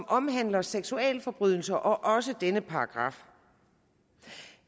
omhandler seksualforbrydelser og så også denne paragraf